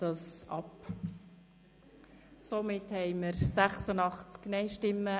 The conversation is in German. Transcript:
Ich stimme gegen die Ziffer 2 der Motion.